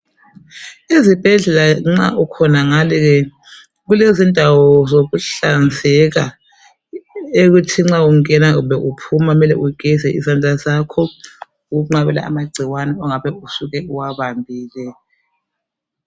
Izibhedlela nxa ukhonangale kulezindawo zokuhlanzeka ekuthi nxa ungena kumbe uphuma kumele ugeze izandla zakho. Ukunqabela amagcikwane ongabe usuke uwabambile.